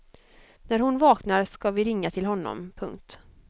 När hon vaknar ska vi ringa till honom. punkt